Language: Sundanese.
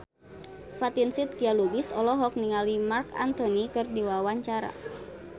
Fatin Shidqia Lubis olohok ningali Marc Anthony keur diwawancara